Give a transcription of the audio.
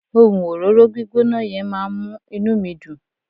ohun òróró gbígbóná yen ma n mu inú mi Dun